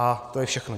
A to je všechno.